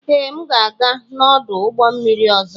Ee, m ga-aga n'ọdụ ụgbọ mmiri ọzọ.